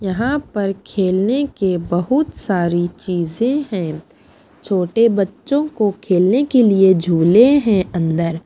यहाँ पर खेलने के बहुत सारी चीजें हैं छोटे बच्चों को खेलने के लिए झूले हैं अंदर--